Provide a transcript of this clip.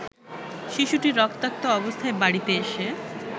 শিশুটি রক্তাক্ত অবস্থায় বাড়িতে এসে